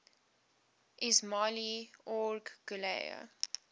ismail omar guelleh